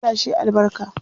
Allah shi yi albarka.